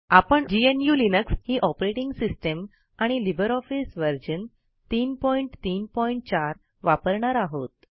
आपण GNU Linux ही operating system आणि लिबर ऑफिस व्हर्जन 334 वापरणार आहोत